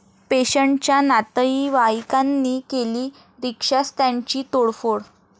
पेशंटच्या नातईवाईकांनी केली रिक्षास्टँडची तोडफोड